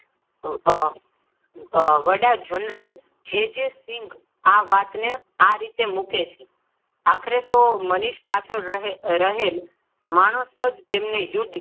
આહ વડા general J. J Singh આ વાતને આ રીતે મૂકે છે. આખરે તો મનીષ પાછળ રહેલ માણસ જ તેમને યુદ્ધ.